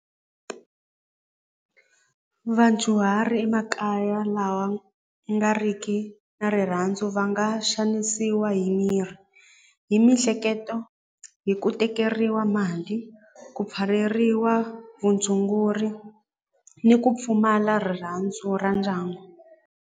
Vadyuhari emakaya lawa ya nga riki na rirhandzu va nga xanisiwa hi miri hi mihleketo hi ku tekeriwa mali ku pfaleriwa vutshunguri ni ku pfumala rirhandzu ra ndyangu.